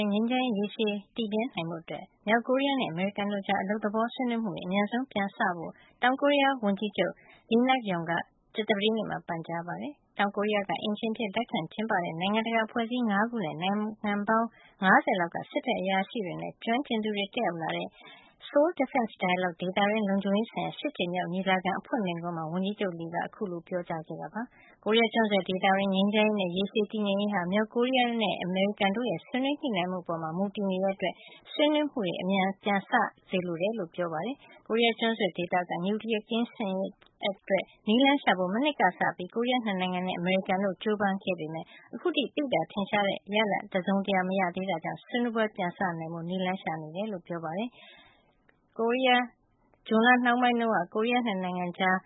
င်း ငြိမ်းချမ်းရေး ရေရှည်တည်မြဲ နိုင်ဖို့အတွက် မြောက်ကိုရီးယားနဲ့ အမေရိကန်တို့ကြား အလုပ်သဘော ဆွေးနွေးမှုတွေ အမြန်ဆုံး ပြန်လည် စတင်ဖို့ တောင်ကိုရီးယားဝန်ကြီးချုပ် Lee Nak-yon က ကြာသပတေးနေ့က ပန်ကြားလိုက်ပါတယ်။ တောင်ကိုရီးယားက အိမ်ရှင်အဖြစ် လက်ခံကျင်းပတဲ့ နိုင်ငံတကာ အဖွဲ့အစည်း ၅ ခုနဲ့ နိုင်ငံပေါင်း ၅၀ လောက်က စစ်ဘက်အရာရှိတွေနဲ့ ကျွမ်းကျင်သူတွေ တက်ရောက်လာတဲ့ SDD - Seoul Defense Dialogue ဒေသတွင်းလုံခြုံရေးဆိုင်ရာ ၈ ကြိမ်မြောက်ညီလာခံ အဖွင့်မိန့်ခွန်း မှာ ဝန်ကြီးချုပ် Lee က အခုလိုပြောကြားခဲ့တာပါ။ ကိုရီးယားကျွန်းဆွယ်ဒေသတွင်း ငြိမ်းချမ်းရေးနဲ့ ရေရှည်တည်ငြိမ်ရေးဟာ မြောက်ကိုရီးယားနဲ့ အမေရိကန် တို့ရဲ့ ဆွေးနွေးညှိနှိုင်းမှုပေါ် မူတည်နေတာကြောင့် ဆွေးနွေးမှုတွေ အမြန်ပြန်စ စေလိုကြောင်း ဝန်ကြီးချုပ်က ပြောပါတယ်။ ကိုရီးယားကျွန်းဆွယ်ဒေသ နျူကလီယားကင်းရှင်းရေးအတွက် နည်းလမ်းရှာဖို့ မနှစ်ကစပြီး ကိုရီးယား ၂ နိုင်ငံနဲ့ အမေရိကန်တို့ ကြိုးပမ်းခဲ့ကြောင်း ဒါပေမယ့် အခုထိ သိသာထင်ရှားတဲ့ ရလဒ် တစုံတရာ မရသေးတဲ့အတွက် ဒီဆွေးနွေးပွဲတွေ ပြန်စနိုင်ရေးဖို့ ၃ နိုင်ငံစလုံးက နည်းလမ်းရှာနေဆဲ လို့လည်း ပြောပါတယ်။ ဇွန်လနှောင်းပိုင်းတုန်းက ကိုရီးယား ၂နိုင်ငံကြား